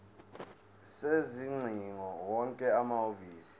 sezingcingo wonke amahhovisi